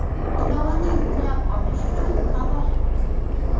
Ilovani yuklab olish uchun havola: .